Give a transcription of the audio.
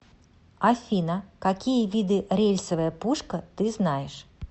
афина какие виды рельсовая пушка ты знаешь